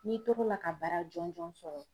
N'i tor'o la ka baara jɔnjɔn sɔrɔ